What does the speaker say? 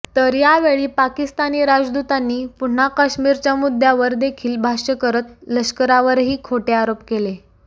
तर यावेळी पाकिस्तानि राजदूतांनी पुन्हा काश्मीरच्यामुद्द्यावर देखील भाष्य करत लष्करावरही खोटे आरोप केले